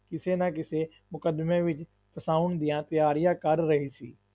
ਕਿਸੇ ਨਾ ਕਿਸੇ ਮੁਕੱਦਮੇ ਵਿੱਚ ਫਸਾਉਣ ਦੀਆਂ ਤਿਆਰੀਆਂ ਕਰ ਰਹੀ ਸੀ।